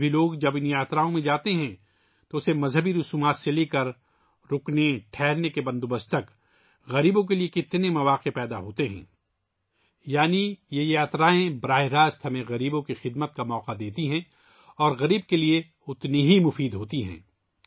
آج بھی لوگ جب ان یاتراؤں پر جاتے ہیں تو اسے مذہبی رسومات سے لے کر قیام تک، غریبوں کے لئے کتنے مواقع پیدا ہوتے ہیں، یعنی یہ یاترائیں ہمیں براہ راست غریبوں کی خدمت کا موقع فراہم کرتی ہیں اور غریبوں کے لئے فائدہ مند ہوتی ہیں